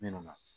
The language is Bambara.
Min na